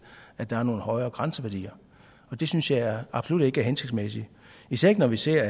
at der er nogle højere grænseværdier og det synes jeg absolut ikke er hensigtsmæssigt især ikke når vi ser